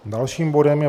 Dalším bodem je